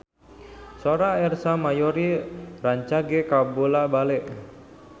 Sora Ersa Mayori rancage kabula-bale